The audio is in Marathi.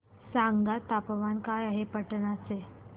सांगा तापमान काय आहे पाटणा चे